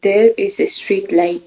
There is a street ligh .